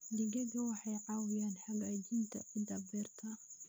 Digaagga waxay caawiyaan hagaajinta ciidda beerta.